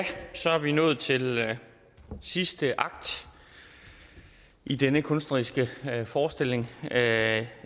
så er vi nået til sidste akt i denne kunstneriske forestilling